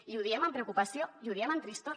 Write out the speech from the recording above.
i ho diem amb preocupació i ho diem amb tristor